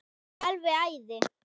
Alveg æði.